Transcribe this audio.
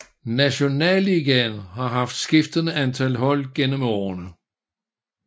Nationalligaen har haft skiftende antal hold gennem årene